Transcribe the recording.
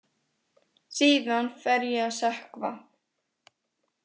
Síðan fer ég að sökkva.